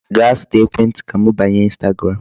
Gaa zụta ekwentị ka m banye Instagram.